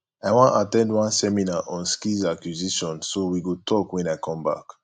i wan at ten d one seminar on skills acquisition so we go talk wen i come back